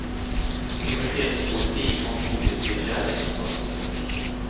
Pubertetspoesi, om olycklig kärlek och sånt.